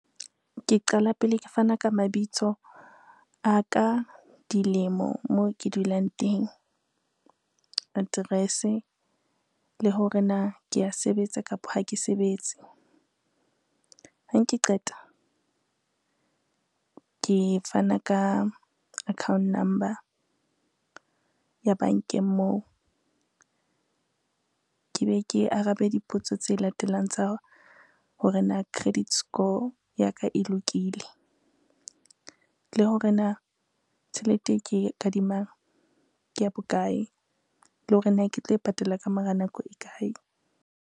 Ke qala pele ke fana ka mabitso a ka, dilemo, moo ke dulang teng, address-e le hore na ke a sebetsa kapa ha ke sebetse. Ha ke qeta ke fana ka account number ya bankeng moo, ke be ke arabe dipotso tse latelang tsa hore na credit score ya ka e lokile, le hore na tjhelete e ke kadimang ke ya bokae le hore na ke tlo e patala ka mora nako e kae.